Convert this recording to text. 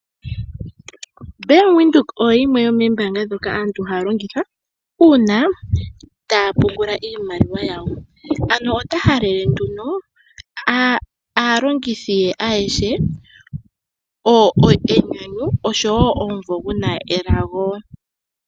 Bank Widhoek oyo yimwe yo moombaanga ndhoka aantu haya longitha uuna taya pungula iimaliwa yawo. Ano ota halele nduno aalongithi ye ayehe enyanyu, osho wo omumvo guna elago.